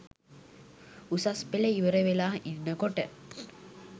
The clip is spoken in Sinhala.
උසස් පෙළ ඉවර වෙලා ඉන්න කොට